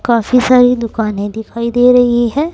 काफी सारी दुकाने दिखाई दे रही है।